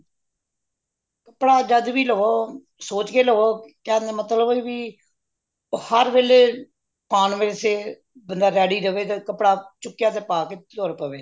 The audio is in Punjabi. ਕਪੜਾ ਜੱਦ ਵੀ ਲਵੋ ਸੋਚ ਕੇ ਲਵੋ ਕਹਿਣ ਦਾ ਮਤਲਬ ਕਿ ਬਇ ਹਰ ਵੇਲ਼ੇ ਪਾਣ ਵਾਸਤੇ ਬੰਦਾ ready ਰਵੇ ਕਪੜਾ ਚੁਕਿਆ ਤੇ ਪਾ ਕ ਤੁਰ ਪਵੇ